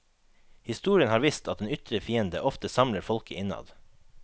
Historien har vist at en ytre fiende ofte samler folket innad.